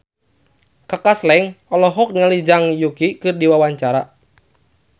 Kaka Slank olohok ningali Zhang Yuqi keur diwawancara